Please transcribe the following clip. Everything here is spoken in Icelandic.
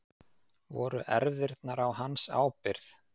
Voru erfðirnar á hans ábyrgð?